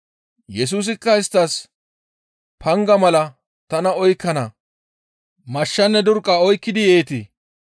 Yesusikka isttas, «Panga mala tana oykkana mashshanne durqqa oykkidi yeetii?